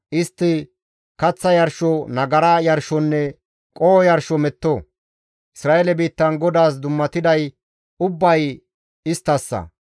Istti kaththa yarsho, nagara yarshonne qoho yarsho metto. Isra7eele biittan GODAAS dummatiday ubbay isttassa.